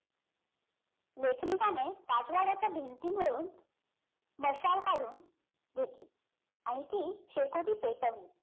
लेखनिकाने राजवाड्याच्या भिंतीवरून मशाल काढून घेतली आणि ती शेकोटी पेटवली